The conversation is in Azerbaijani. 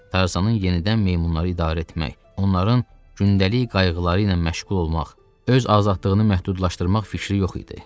Tarzanın yenidən meymunları idarə etmək, onların gündəlik qayğıları ilə məşğul olmaq, öz azadlığını məhdudlaşdırmaq fikri yox idi.